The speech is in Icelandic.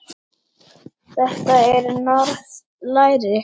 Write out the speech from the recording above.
Þetta er norskt læri.